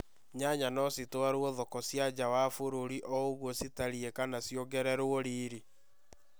Nyanya no citwarũo thoko cia nja wa bũrũri ouguo citariĩ kana ciongererwo riri